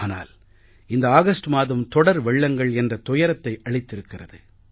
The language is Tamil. ஆனால் இந்த ஆகஸ்ட் மாதம் தொடர் வெள்ளங்கள் என்ற துயரத்தை அளித்திருக்கிறது